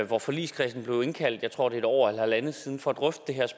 hvor forligskredsen blev indkaldt jeg tror det er et år eller halvandet siden for